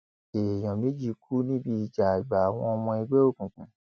èèyàn méjì kú níbi ìjà àgbà àwọn ọmọ ẹgbẹ òkùnkùn